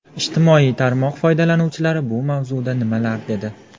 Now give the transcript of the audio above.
Ijtimoiy tarmoq foydalanuvchilari bu mavzuda nimalar dedi?